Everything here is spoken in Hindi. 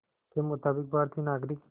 के मुताबिक़ भारतीय नागरिक